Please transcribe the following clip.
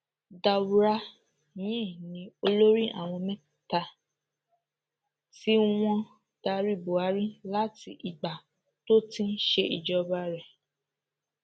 daura yìí ni olórí àwọn mẹta tí wọn ń darí buhari láti ìgbà tó ti ń ṣèjọba rẹ